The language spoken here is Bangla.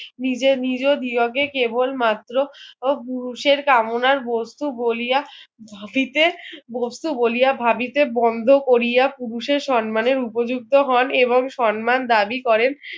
নিজে নির দিয়োগে কেবল মাত্র পুরুষের কামনার বস্তু বলিয়া ধাপিতে বস্তু বলিয়া ভাবিতে বন্দ কোরিয়া পুরুষের সম্মানের উপযুক্ত হন এবং সম্মান দাবি করেন